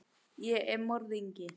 Ég er morðinginn.